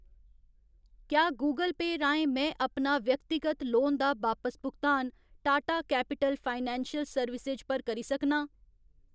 क्या गूगल पेऽ राहें में अपना व्यक्तिगत लोन दा बापस भुगतान टाटा कैपिटल फाइनैंशियल सर्विसेज पर करी सकनां ?